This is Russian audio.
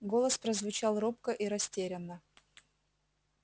голос прозвучал робко и растерянно